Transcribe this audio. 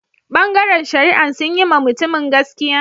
Bangaren shari'an sun yi ma mutumin gaskiya?